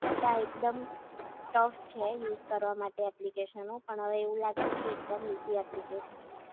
કે આ એકદમ ટફ છે યુઝ કરવા માટે ઍપ્લિકેશનો પણ, હવે એવું લાગે છે કે એકદમ ઈઝી એપ્લિકેશન છ